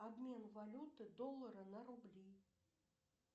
обмен валюты доллары на рубли